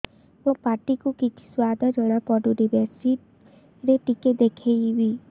ମୋ ପାଟି କୁ କିଛି ସୁଆଦ ଜଣାପଡ଼ୁନି ମେଡିସିନ ରେ ଟିକେ ଦେଖେଇମି